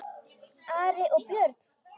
Ari og Björn!